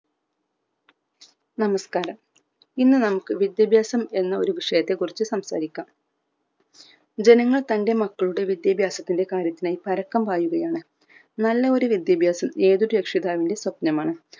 നമസ്‌കാരം ഇന്ന് നമുക്ക് വിദ്യാഭ്യാസം എന്ന ഒരു വിഷയത്തെ കുറിച്ചു സംസാരിക്കാം ജനങ്ങൾ തന്റെ മക്കളുടെ വിദ്യാഭ്യാസത്തിന്റെ കാര്യത്തിനായി പരക്കം പായുകയാണ് നല്ല ഒരു വിദ്യാഭ്യാസം ഏതൊരു രക്ഷിതാവിന്ടെ സ്വപ്‌നമാണ്